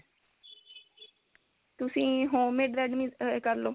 ਤੁਸੀਂ home made try ਕਰਲੋ